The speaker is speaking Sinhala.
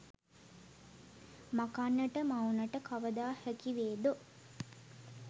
මකන්නට මවුනට කවදා හැකිවේදෝ